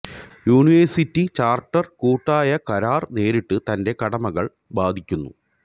university charter കൂട്ടായ കരാർ നേരിട്ട് തന്റെ കടമകൾ ബാധിക്കുന്നു